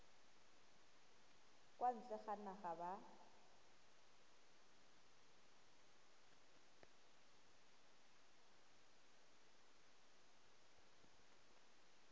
kwa ntle ga naga ba